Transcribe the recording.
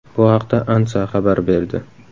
Bu haqda ANSA xabar berdi.